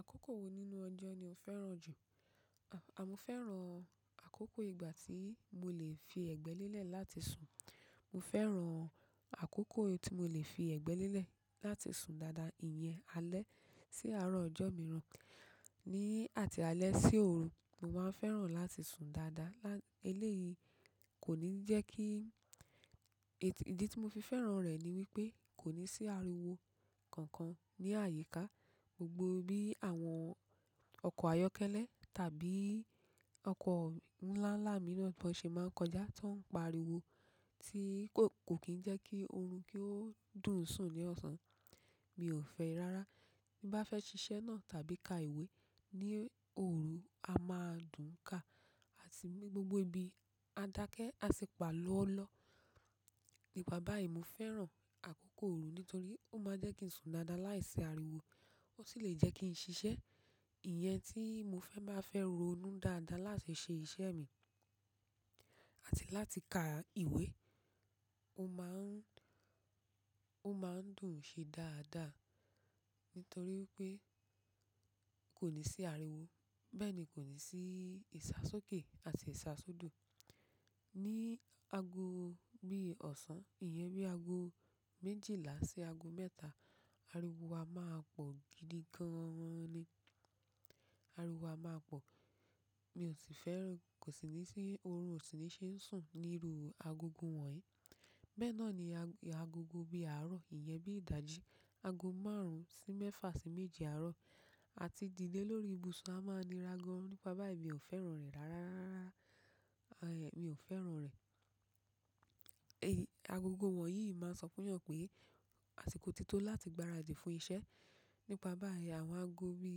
Àkókò wo nínú ọjọ́ ni o fẹ́ràn jù? Mo fẹ́ràn àkókò ìgbà tí mo le fi ẹ̀gbẹ́ lélẹ̀ láti sùn. Mo fẹ́ràn àkókò tí mo le fi ẹ̀gbẹ́ lélẹ̀ láti sùn dáadáa. Iyẹn alẹ́ sí àárọ̀ ọjọ́ mìíràn, ní àti alẹ́ sí òru, mo máa ń fẹ́ràn láti sùn dáadáa. Eléyìí kò ní jẹ́ kí-- ìdí tí mo fi fẹ́ràn rẹ̀ ni wípé, kò ní sí ariwo kankan ní àyíká. Gbogbo bí àwọn ọkọ̀ ayọ́kẹ́lẹ́ tàbí ọkọ̀ ńlá ńlá mìíràn bá ṣe máa ń kọjá, tó ń pariwo tí kò kì í jẹ́ kí oorun kí ó dùn sùn ní ọ̀sán. Mi ò fẹ́ rárá. Bí bá fẹ́ ṣiṣẹ́ náà tàbí ka ìwé ní òru, a máa dùn ká àti gbogbo ibi, a dákẹ́, a sì pa lọ́lọ́. Nípa báyìí, mo fẹ́ràn àkókò òru nítorí ó máa ń jẹ́ kí n sùn dáadáa láìsí ariwo. Ó sì lè jẹ́ kí n ṣiṣẹ́. Iyẹn tí mo fẹ́ máa fẹ́ ronú dáadáa láti ṣe iṣẹ́ mi àti láti ka ìwé. Ó máa ń, ó máa ń dùn ṣe dáadáa nítorí pé kò ní sí ariwo. Bẹ́ẹ̀ ni kò ní sí ìṣàsókè àti ìṣàsódò. Ní ago bí ọ̀sán, iye bí ago méjìlá sí ago mẹ́ta, ariwo a máa pọ̀ gidi gan-an ni. Ariwo a máa pọ̀. Mi ò sì fẹ́ràn. Kò sì ní sí oorun, kò sì ní ṣe ń sùn níru agogo wọ̀nyí. Bẹ́ẹ̀ náà ni agogo bí àárọ̀, iyen bí ìdájí, ago márùn-ún sí mẹ́fà sí méje àárọ̀, àti dìde lórí ibùsùn a máa nira gan. Nípa báyìí mi ò fẹ́ràn rẹ̀ rárá. Mi ò fẹ́ràn rẹ̀. Agogo wọ̀nyí máa ń sọ fún yan pé àsìkò tó tó láti gbáradì fún iṣẹ́. Nípa báyìí àwọn ago bí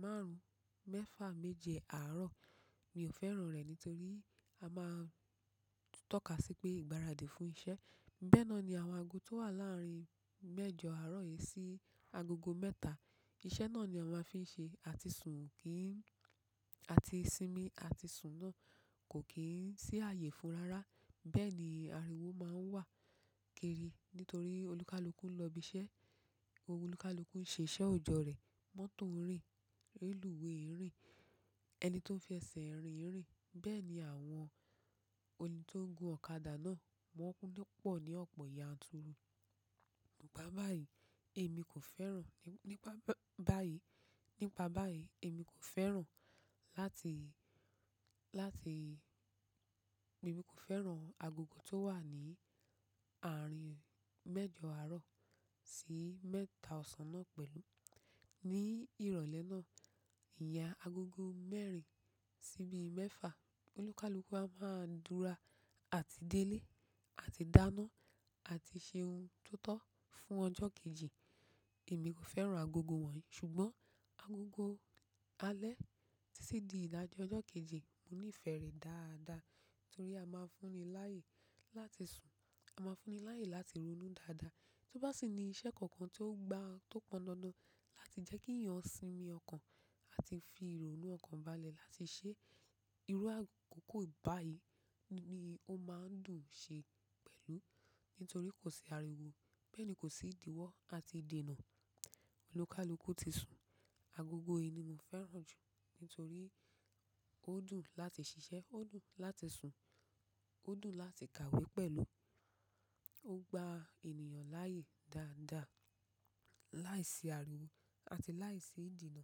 márùn-ún, mẹ́fà, méje àárọ̀, mi ò fẹ́ràn rẹ̀ nítorí a máa ń tọ́ka sí pé ìgbáradì fún iṣẹ́. Bẹ́ẹ̀ náà ni àwọn ago tó wà láàrin mẹ́jọ àárọ̀ yìí sí agogo mẹ́ta. Iṣẹ́ náà ni àwọn a fi ń ṣe àti sùn kì í ń-- àti sinmi àti sùn náà kò kí ń sí àyè fún rárá. Bẹ́ẹ̀ ni ariwo máa ń wà kéerí nítorí olúkaluku ń lọ ibi iṣẹ́. Olúkaluku ń ṣe iṣẹ́ ọjọ́ rẹ̀. Mọ́tò ń rìn. Rílíwèé ń rìn. Ẹni tó ń fi ẹsẹ̀ ń rìn ń rìn. Bẹ́ẹ̀ ni àwọn olè tó ń gun ọ̀kadà náà, wọ́n pọ̀ ní ọ̀pọ̀ yanturu. Nípa báyìí, èmi kò fẹ́ràn. Nípa báyìí, nípa báyìí èmi kò fẹ́ràn láti, láti-- èmi kò fẹ́ràn agogo tó wà ní àárín mẹ́jọ àárọ̀ sí mẹ́ta ọ̀sán náà pẹ̀lú. Ní ìrọ̀lẹ́ náà, ìyen agogo mẹ́rin sí bí mẹ́fà. Olúkaluku a máa ń dúra àti délé àti dáná àti ṣe ohun tó tọ́ fún ọjọ́ kejì. Èmi kò fẹ́ràn agogo wọ̀nyí ṣùgbọ́n agogo alẹ́ títí di ìdájí ọjọ́ kejì, mo nífẹ̀ẹ́ rẹ̀ dáadáa nítorí a máa ń fún ni láàyè láti sùn. A máa ń fún ni láàyè láti ronú dáadáa. Tó bá sì ní iṣẹ́ kankan tó gba, tó pọn dandan láti jẹ́ kí ìyàn sinmi ọkàn àti fi ìrònú ọkàn balẹ̀ láti ṣẹ́, irú akoko báyìí ni ó máa ń dùn ṣe pẹ̀lú. Nítorí kò sí ariwo. Bẹ́ẹ̀ ni kò sí ìdìwọ́ àti ìdènà. Olúkúlùkù ti sùn. Agogo yìí ni mo fẹ́ràn jù nítorí ó dùn láti ṣiṣẹ́, ó dùn láti sùn, ó dùn láti kàwé pẹ̀lú. Ó gba ènìyàn láàyè dáadáa láìsí ariwo àti láìsí ìdènà.